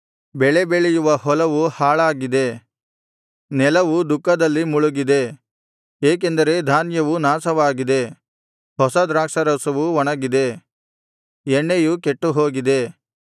ಬೆಳೆ ಬೆಳೆಯುವ ಹೊಲವು ಹಾಳಾಗಿದೆ ನೆಲವು ದುಃಖದಲ್ಲಿ ಮುಳುಗಿದೆ ಏಕೆಂದರೆ ಧಾನ್ಯವು ನಾಶವಾಗಿದೆ ಹೊಸ ದ್ರಾಕ್ಷಾರಸವು ಒಣಗಿದೆ ಎಣ್ಣೆಯು ಕೆಟ್ಟುಹೋಗಿದೆ